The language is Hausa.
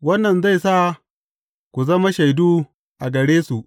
Wannan zai sa ku zama shaidu a gare su.